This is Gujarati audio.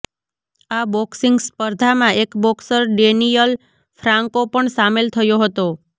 આ બોક્સિંગ સ્પર્ધામાં એક બોક્સર ડેનિયલ ફ્રાન્કો પણ સામેલ થયો હતો